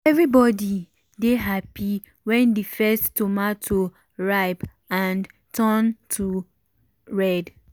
everybody dey happy when the first tomato ripe and turn red.